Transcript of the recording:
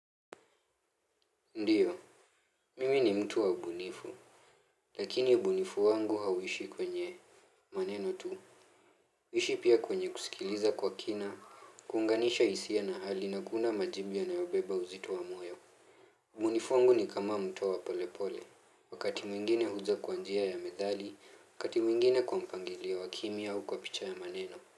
Ndiyo, mimi ni mtu wa ubunifu, lakini ubunifu wangu hauishi kwenye maneno tu. Huishi pia kwenye kusikiliza kwa kina, kuunganisha hisia na hali na kuunda majibu yanayobeba uzito wa moyo. Ubunifu wangu ni kama mto wa polepole, wakati mwingine huja kwa njia ya methali, wakati mwingine kwa mpangilio wa kimya au kwa picha ya maneno.